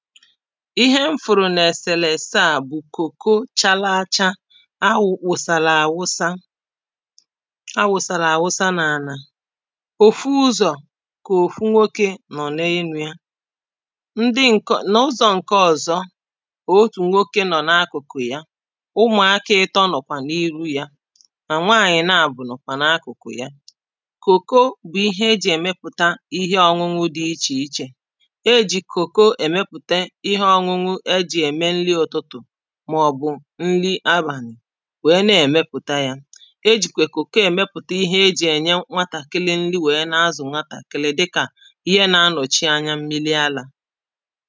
ihe m fụ̀rụ̀ nẹ̀ sèlèstaà bụ̀ kòko chālāchā a wùsàlà àwusa a wụ̀sàlà àwụsa n’ànà òfu ụzọ̀ kà òfu nwokē nọ̀ n’enū yā ndị ǹkọ n’ụzọ̄ ǹke ọ̀zọ otù nwokē nọ̀ n’akụ̀kụ̀ ya ụmụ̀akā ị̄tọ̄ nọ̀kwà n’iru yā nà nwaànyị̀ naàbọ̀ nọ̀kwà n’akụ̀kụ̀ ya kòko bụ̀ ihe ejì èmepụ̀ta ihe ọ̄ñụ̄ñụ̄ dị̄ ichè ichè ejì kòko èmepùte ihe ọ̄ñụ̄ñụ̄ ejì ème nli ụ̀tụtụ̀ màọ̀bụ̀ nli abànị̀ nwèe ne èmepụ̀ta yā ejìkwè kòko èmepùte ihe he jì ènye nwatàkịlị nli nwèe na-azụ̀ nwatàkịlị dịkà ihe nā-ālọ̀chi anya mmili alā